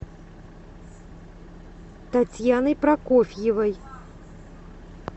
татьяной прокофьевой